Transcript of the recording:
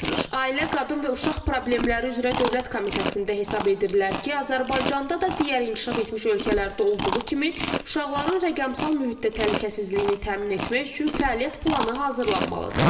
Ailə, Qadın və Uşaq Problemləri üzrə Dövlət Komitəsində hesab edirlər ki, Azərbaycanda da digər inkişaf etmiş ölkələrdə olduğu kimi uşaqların rəqəmsal mühitdə təhlükəsizliyini təmin etmək üçün fəaliyyət planı hazırlanmalıdır.